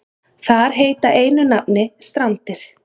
Þar heita einu nafni Strandir.